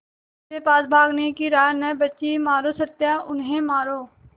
मेरे पास भागने की राह न बची मारो सत्या उन्हें मारो